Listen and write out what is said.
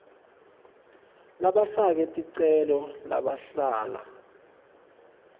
labafake ticelo labahlala